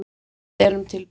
Við erum tilbúnir.